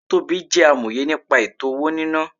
Tobí jẹ́ amòye nípa ètò-owó-níná